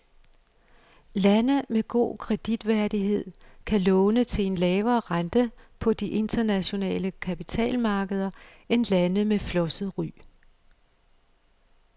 Lande med god kreditværdighed kan låne til en lavere rente på de internationale kapitalmarkeder end lande med flosset ry.